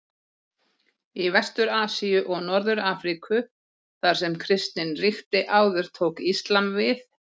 Í Vestur-Asíu og Norður-Afríku þar sem kristnin ríkti áður tók íslam við.